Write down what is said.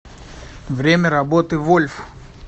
время работы вольф